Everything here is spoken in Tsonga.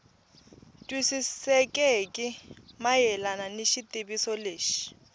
twisisekeki mayelana ni xitiviso lexi